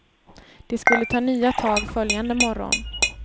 De skulle ta nya tag följande morgon.